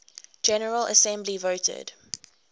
general assembly voted